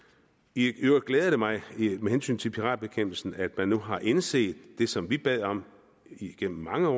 i øvrigt glæder det mig med hensyn til piratbekæmpelsen at man nu har indset det som vi bad om igennem mange år